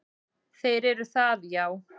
Þeir eru það, já.